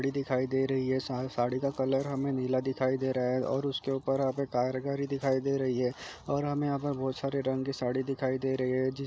कपड़े दिखाई दे रही हैसाथ साड़ी का कलर हमे नीला दिखाई दे रहा है और उसके उपर हमे कारीगरी दिखाई दे रही है और हमे यहाँ यहाँ पर बहुत सारे रंग के साड़ी दिखाई दे रही है जिस--